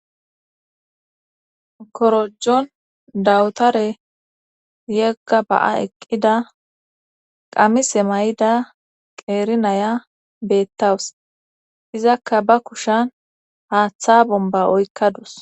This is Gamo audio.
korojon dawutare yegga ba'a eqqida qamise mayida qeeri naya beettawus izakka ba kushen haaththa bomba oykkadus